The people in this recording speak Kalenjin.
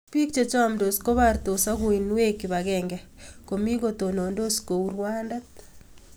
biik che camdos kobartos ak uinweek kip agenge, komii kotonondos kouu rwandet